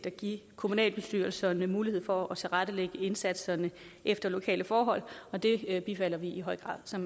at give kommunalbestyrelserne mulighed for at tilrettelægge indsatserne efter lokale forhold og det bifalder vi i høj grad så